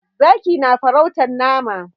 Zaki na farautar nama.